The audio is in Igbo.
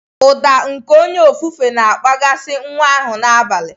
Ụda nke onye ofufe na-akpaghasị nwa ahụ n'abalị.